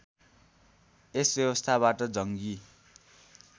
यस व्यवस्थाबाट जङ्गी